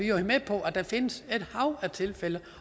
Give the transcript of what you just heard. jo med på at der findes et hav af tilfælde